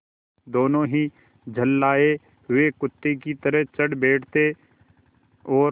दोनों ही झल्लाये हुए कुत्ते की तरह चढ़ बैठते और